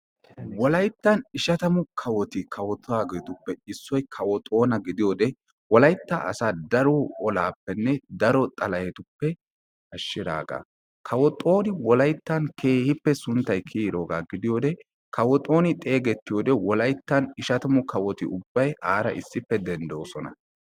Wolayttan ishshatammu kawotti kawottidaagetuppekka issoy kawo xoona gidiyoode wolaytta asaa daro olaappenne daro xalahettuppe ashshiraagaa. kawo wolayttan keehippe sunttay kiyiroogaa gidiyoode kawo xooni xeegettiyoode wollayttan ishshatammu kawotti unbbay aara issippe denddoosona.